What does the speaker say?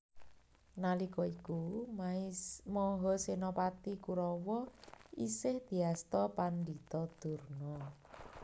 Nalika iku Mahasénapati Kurawa isih diasta Pandhita Durna